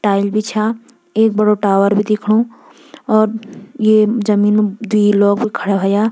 टाइल भी छा एक बड़ु टावर भी दिखणु और ये जमीन म द्वि लोग खड़ा होया।